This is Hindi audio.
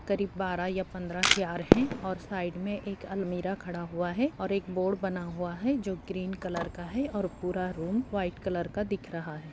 करीब बारह या पंद्रह चेयर है और साइड में एक अलमारी खड़ा हुआ है और एक बोर्ड बना हुआ है जो ग्रीन कलर का है और पूरा रूम व्हाइट कलर का दिख रहा है।